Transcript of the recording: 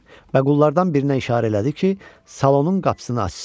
Və qullardan birinə işarə elədi ki, salonun qapısını açsın.